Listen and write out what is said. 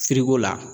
la